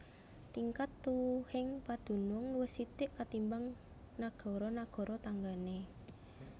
Tingkat tuwuhing padunung luwih sithik katimbang nagara nagara tanggané